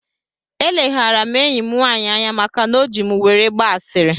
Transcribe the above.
Eleghara m enyi m nwaanyị anya maka na o ji m were gbaa ashịrị